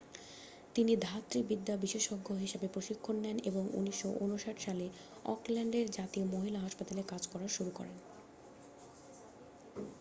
তিনি ধাত্রী বিদ্যা বিশেষজ্ঞ হিসেবে প্রশিক্ষণ নেন এবং 1959সালে অকল্যান্ডের জাতীয় মহিলা হাসপাতালে কাজ করা শুরু করেন